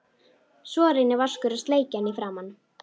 Svo reynir Vaskur að sleikja hann í framan.